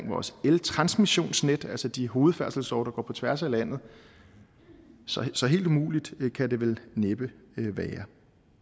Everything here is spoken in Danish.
vores eltransmissionsnet altså de hovedfærdselsårer der går på tværs af landet så så helt umuligt kan det vel næppe være